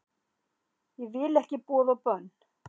Ég vil ekki boð og bönn